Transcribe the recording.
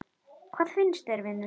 Hvað finnst þér, vinur?